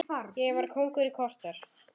Ég var kóngur í korter.